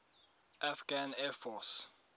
afghan air force